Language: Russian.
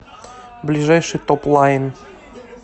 ближайший топлайн